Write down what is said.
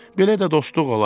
Belə də dostluq olar.